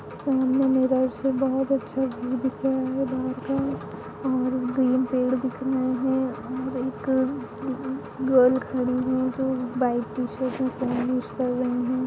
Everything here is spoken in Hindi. जिम में मिर्रोर बहुत अच्छा व्यू दिख रहा है बाहर का और ग्रीन पेड़ दिख रहे है और एक गर्ल खड़ी है जो लाईट टी-शर्ट पहन